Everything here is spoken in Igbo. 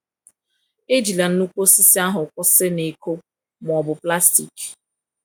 Ejila nnukwu osisi ahụ kwụsị na iko ma ọ bụ plastik.